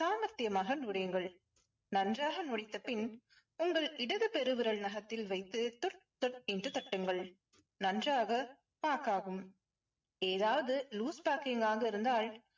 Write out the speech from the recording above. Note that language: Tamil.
சாமர்த்தியமாக நன்றாக பின் உங்கள் இடது பெருவிரல் நகத்தில் வைத்து தக் தக் என்று தட்டுங்கள். நன்றாக pack ஆகும் ஆகும். ஏதாவது loose packing ஆக இருந்தால்